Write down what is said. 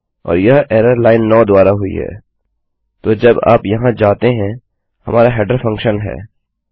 और यह error line 9 द्वारा हुई है तो जब आप यहाँ जाते हैं हमारा हेडर फंक्शन है